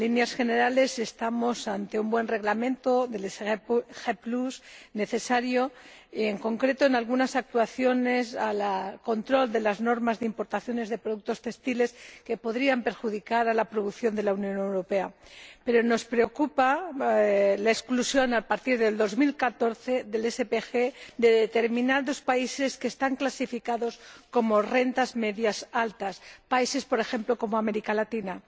En líneas generales estamos ante un buen Reglamento sobre el SPG, necesario, en concreto, por lo que respecta a algunas actuaciones relativas al control de las normas de importación de productos textiles que podrían perjudicar la producción de la Unión Europea. Pero nos preocupa la exclusión a partir de 2014 del SPG de determinados países que están clasificados como rentas medias altas, países, por ejemplo, de América Latina.